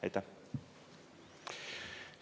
Aitäh!